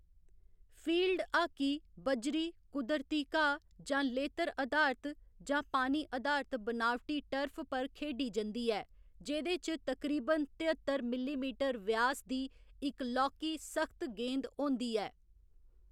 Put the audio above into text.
Field hockey बज्जरी, कुदरती घाऽ, जां लेतर अधारत जां पानी अधारत बनावटी टर्फ पर खेढी जंदी ऐ, जेह्‌दे च तकरीबन तेअत्तर मिलीमीटर व्यास दी इक लौह्‌‌‌की, सख्त गेंद होंदी ऐ।